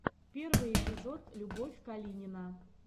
первый эпизод любовь калинина